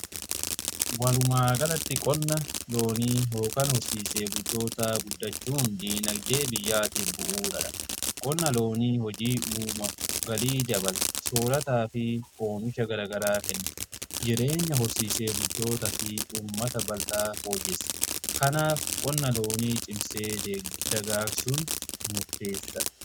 Walumaa galatti qonna loonii yookaan horsiisee bultootaa guddachuun dinagdee biyyaatiif bu'aadha. Kun qonna loonii hojii uuma galii dabala soorataa fi omisha garagaraa kenna jireenya horsiisee bultoota fi ummata bal'aa fooyyessa. Kanaaf qonna loonii cimsee dagaagsun murteessadha.